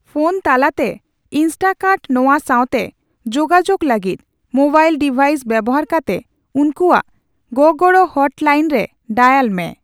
Phone ᱛᱟᱞᱟᱛᱮ ᱤᱱᱥᱴᱠᱟᱨᱴᱼᱱᱚᱣᱟ ᱥᱟᱣᱛᱮ ᱡᱳᱜᱟᱡᱳᱜ ᱞᱟᱹᱜᱤᱫ, ᱢᱳᱵᱟᱭᱤᱞ ᱰᱤᱵᱷᱟᱭᱤᱥ ᱵᱮᱣᱦᱟᱨ ᱠᱟᱛᱮ ᱩᱱᱠᱩᱣᱟᱜ ᱜᱚᱼᱜᱚᱲᱚ ᱦᱚᱴᱞᱟᱭᱤᱱᱨᱮ ᱰᱟᱭᱟᱞ ᱢᱮ ᱾